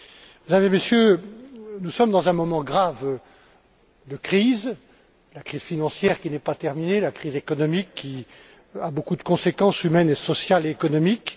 Mesdames et Messieurs, nous sommes dans un moment grave de crise la crise financière qui n'est pas terminée, la crise économique qui a beaucoup de conséquences humaines, sociales et économiques.